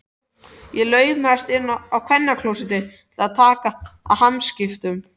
Ég laumast inn á kvennaklósettið til að taka hamskiptum.